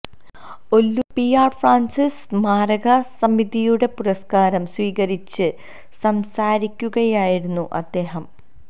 Ollur P R Francis സ്മാരകസമിതിയുടെ പുരസ്കാരം സ്വീകരിച്ച് സംസാരിക്കുകയായിരുന്നു അദ്ദേഹം